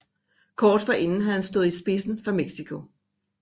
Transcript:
Kort forinden havde han stået i spidsen for Mexico